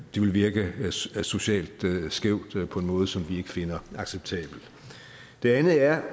virke socialt skævt på en måde som vi ikke finder acceptabel det andet er